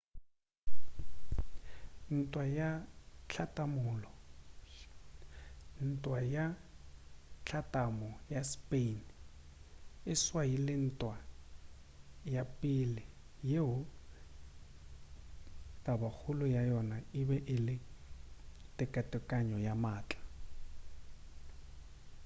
ntwa ya hlatlamo ya spain e swaile ntwa ya pele yeo tabakgolo ya yona ebe e le tekatekano ya maatla